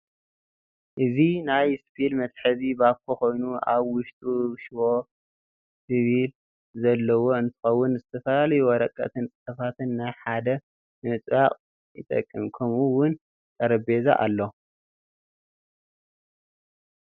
እዚ ናይ ስፒል መተሐዚ ባኮ ኮይኑ አብ ውሽጡ ሽዎ ስፒል ዘለዎ እንትኸውን ነዝተፈላለዩ ወረቀትን ፅሑፋትን ናብ ሐደ ንምጥባቅ ይጠቅም። ከምኡ ውን ጠረጴዛ አሎ።